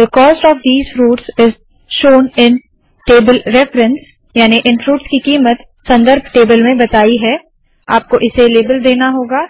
थे cost of fruits is shown in table reference याने इन फ्रूट्स की कीमत संदर्भ टेबल में बताया है आपको इसे लेबल देना होगा